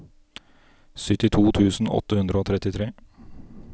syttito tusen åtte hundre og trettitre